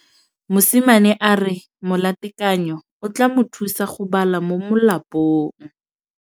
Mosimane a re molatekanyô o tla mo thusa go bala mo molapalong.